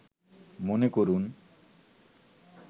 মনে করুন